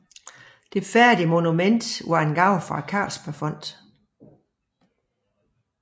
Det færdige monument var en gave fra Carlsbergfondet